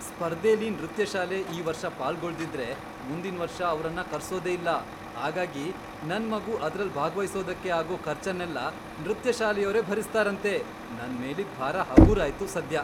ಸ್ಪರ್ಧೆಲಿ ನೃತ್ಯ ಶಾಲೆ ಈ ವರ್ಷ ಪಾಲ್ಗೊಳ್ದಿದ್ರೆ, ಮುಂದಿನ್ವರ್ಷ ಅವ್ರನ್ನ ಕರ್ಸೋದೇ ಇಲ್ಲ, ಹಾಗಾಗಿ ನನ್ ಮಗು ಅದ್ರಲ್ ಭಾಗ್ವಹಿಸೋದಕ್ಕೆ ಆಗೋ ಖರ್ಚನ್ನೆಲ್ಲ ನೃತ್ಯ ಶಾಲೆಯೋರೇ ಭರಿಸ್ತಾರಂತೆ, ನನ್ ಮೇಲಿದ್ ಭಾರ ಹಗೂರಾಯ್ತು ಸದ್ಯ!